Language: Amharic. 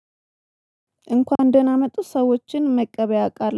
እንኳን ደህና መጡ ሰዎችን መቀበያ ያውቃል